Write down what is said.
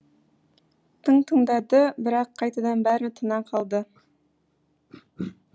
тың тыңдады бірақ қайтадан бәрі тына қалды